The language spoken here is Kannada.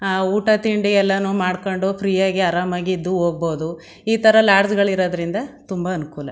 ಆ ಊಟ ತಿಂಡಿ ಎಲ್ಲಾನು ಮಾಡ್ಕೊಂಡು ಫ್ರೀ ಯಾಗಿ ಆರಾಮಾಗಿ ಇದ್ದು ಹೋಗ್ಬಹುದು ಈ ಥರ ಲಾಡ್ಜ್ ಗಳು ಇರದ್ರಿಂದ ತುಂಬ ಅನುಕೂಲ.